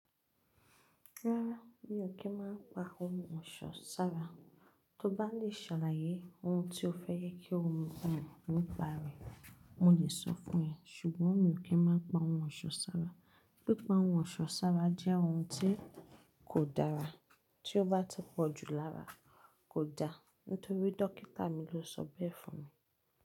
Rárá, mi ò kí ń má pa ohun ọ̀ṣọ́ sára. Tó bá lè ṣàlàyé ohun tí o fẹ́ kí o mu bẹ̀rẹ̀ nípa rẹ̀, mo lè sọ fún ẹ. Ṣùgbọ́n mi ò kí ń má pa ohun ọ̀ṣọ́ sára. Pípa ohun ọ̀ṣọ́ sára jẹ́ ohun tí kò dára tí ó bá ti pọ̀jù lára kò dáa. Nítorí dókítà mi ló sọ bẹ́ẹ̀ fún mi.